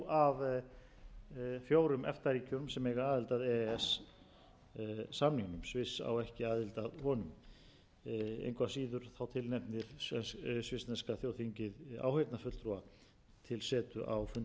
e s samningnum sviss á ekki aðild að honum engu að síður tilnefndir svissneska þjóðþingið áheyrnarfulltrúa til setu á fundum þingmannanefndar e e